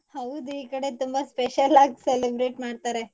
ಹೌದು ಈ ಕಡೆ ತುಂಬಾ special ಆಗ್ celebrate ಮಾಡ್ತಾರೆ.